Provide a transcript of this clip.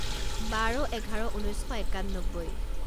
বাৰ এঘাৰ ঊনৈছ শ একান্নব্বৈ